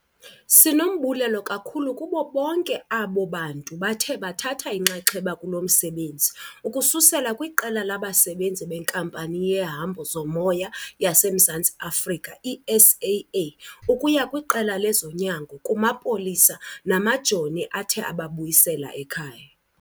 Sinombulelo kakhulu kubo bonke abo bantu bathe bathatha inxaxheba kulo msebenzi, ukususela kwiqela labasebenzi beNkampani yeHambo zoMoya yaseMzantsi Afrika i-SAA ukuya kwiqela lezonyango, kumapolisa namajoni athe ababuyisela ekhaya.